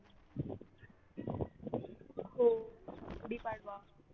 हो गुढीपाडवा